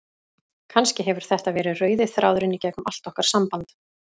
Kannski hefur þetta verið rauði þráðurinn í gegnum allt okkar samband.